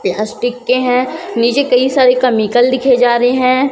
Plastic के हैं नीचे कई सारी कमिकल लिखे जा रहे हैं।